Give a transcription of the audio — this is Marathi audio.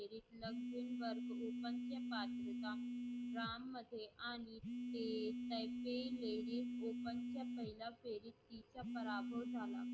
राम मध्ये आणि फेटाचे हेरी open च्या पहिल्या फेरीत पराभव झाला.